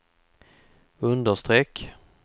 understreck